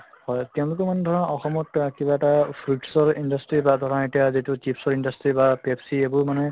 হয় তেওঁলোকে মানে ধৰা অসমত আ কিবা এটা fruits ৰ industry বা ধৰা এতিয়া যিটো chips ৰ industry বা Pepsi এইবোৰ মানে